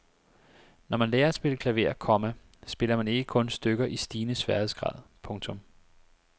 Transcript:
Når man lærer at spille klaver, komma spiller man ikke kun stykker i stigende sværhedsgrad. punktum